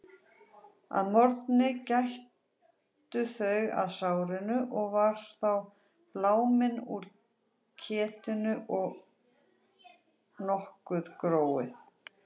Að morgni gættu þau að sárinu og var þá bláminn úr ketinu og nokkuð gróið.